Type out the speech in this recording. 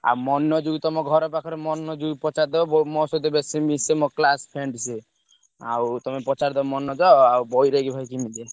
ଆଉ ମନୋଜ କୁ ତମ ଘର ପାଖର ମନୋଜ କୁ ପଚାରିଦବ ମୋ ସହିତ ବେଶୀ ମିଶେ ମୋ classmate ସିଏ ଆଉ ତମେ ପଚାରିଦବ ମନୋଜ ବୈରାଗି ଭାଇ କେମିତିକା।